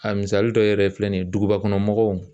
A misali dɔ yɛrɛ filɛ nin ye dugubakɔnɔmɔgɔw